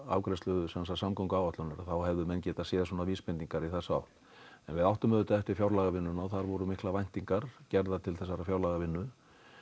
afgreiðslu samgönguáætlunarinnar þá hefðu menn getað séð vísbendingar í þessa átt en við áttum auðvitað eftir fjárlagavinnuna og þar voru miklar væntingar gerðar til þessarar fjárlagavinnu